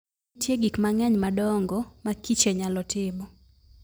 Nitie gik mang'eny ma adongo ma kiche nyalo timo.